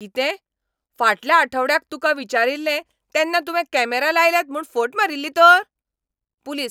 कितें ? फाटल्या आठवड्याक तुका विचारिल्लें तेन्ना तुवें कॅमरा लायल्यात म्हूण फट मारिल्ली तर? पुलीस